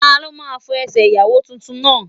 Ta ló máa fọ Ẹsẹ̀ Ìyàwó tuntun náà?